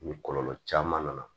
Ni kɔlɔlɔ caman nana